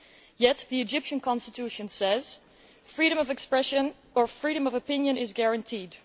Yet the Egyptian Constitution says, freedom of expression or freedom of opinion is guaranteed.